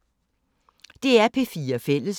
DR P4 Fælles